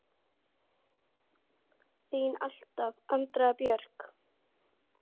Þín alltaf, Andrea Björk.